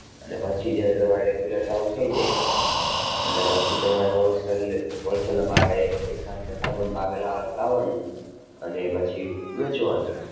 અને પછી જ્યારે તમારે regular ચાલુ થઈ જાય એટલે પછી તમારે wholesale wholesale ના ભાવે એક સાથે જથ્થાબંધ ભાવે લા~લાવવાનું અને પછી વેચવાનું.